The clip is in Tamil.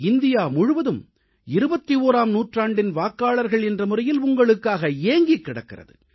இந்தியா முழுவதும் 21ஆம் நூற்றாண்டின் வாக்காளர்கள் என்ற முறையில் உங்களுக்காக ஏங்கிக் கிடக்கிறது